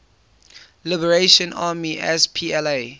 liberation army spla